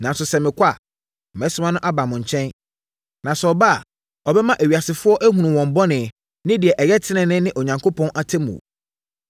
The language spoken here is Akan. Nanso, sɛ mekɔ a, mɛsoma no aba mo nkyɛn. Na sɛ ɔba a, ɔbɛma ewiasefoɔ ahunu wɔn bɔne ne deɛ ɛyɛ tenenee ne Onyankopɔn atemmuo.